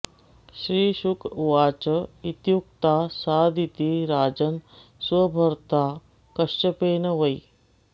श्रीशुक उवाच इत्युक्ता सादिती राजन् स्वभर्त्रा कश्यपेन वै